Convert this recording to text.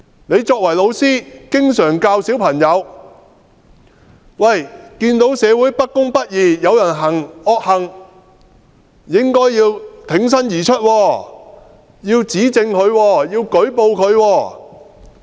你作為老師經常教導小朋友看見社會不公不義，有人行惡行，應該挺身而出，指證和舉報他。